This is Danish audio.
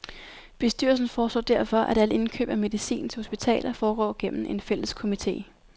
Bestyrelsen foreslår derfor, at alle indkøb af medicin til hospitaler foregår gennem en fælles komite.